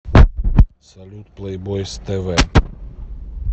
салют плэйбойз тэ вэ